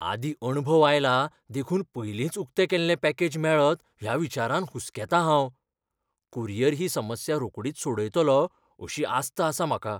आदीं अणभव आयला देखून पयलींच उकतें केल्लें पॅकेज मेळत ह्या विचारान हुसकेतां हांव. कुरियर ही समस्या रोखडीच सोडयतलो अशी आस्त आसा म्हाका.